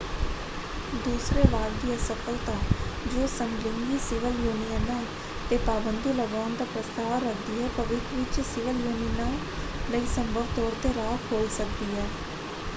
ਦੂਸਰੇ ਵਾਕ ਦੀ ਅਸਫਲਤਾ ਜੋ ਸਮਲਿੰਗੀ ਸਿਵਲ ਯੂਨੀਅਨਾਂ 'ਤੇ ਪਾਬੰਦੀ ਲਗਾਉਣ ਦਾ ਪ੍ਰਸਤਾਵ ਰੱਖਦੀ ਹੈ ਭਵਿੱਖ ਵਿੱਚ ਸਿਵਲ ਯੂਨੀਅਨਾਂ ਲਈ ਸੰਭਵ ਤੌਰ ‘ਤੇ ਰਾਹ ਖੋਲ੍ਹ ਸਕਦੀ ਹੈ।